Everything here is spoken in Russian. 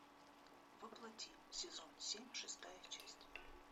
во плоти сезон семь шестая часть